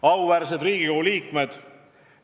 Auväärsed Riigikogu liikmed!